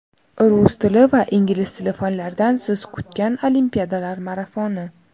Rus tili va ingliz tili fanlaridan siz kutgan olimpiadalar marafoni!.